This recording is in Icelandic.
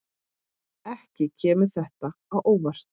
Ekki kemur þetta á óvart.